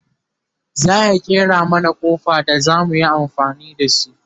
zaya ƙera mana Kofi da zamu yi amfani da shi